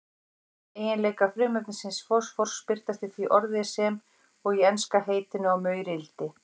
Eiginleikar frumefnisins fosfórs birtast í því orði sem og í enska heitinu á maurildi.